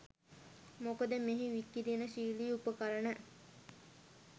මොකද මෙහි විකිරණශීලී උපකරණ